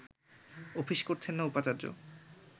office করছেন না উপাচার্য